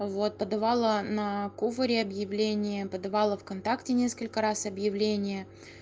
вот подавала на куваре объявление подавала вконтакте несколько раз объявления